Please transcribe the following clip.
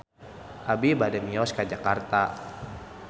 Abi bade mios ka Jakarta